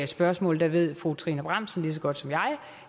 spørgsmål ved fru trine bramsen lige så godt som jeg